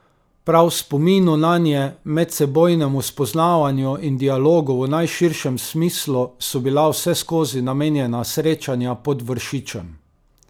Prav spominu nanje, medsebojnemu spoznavanju in dialogu v najširšem smislu so bila vseskozi namenjena srečanja pod Vršičem.